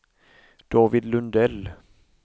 David Lundell